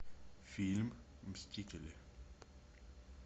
фильм мстители